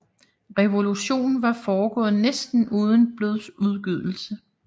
Revolutionen var foregået næsten uden blodsudgydelse